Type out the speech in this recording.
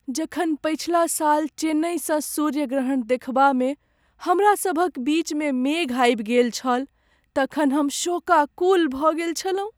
जखन पछिला साल चेन्नईसँ सूर्य ग्रहण देखबामे हमरा सभ क बीच मे मेघ आबि गेल छल तखन हम शोकाकुल भऽ गेल छलहुँ।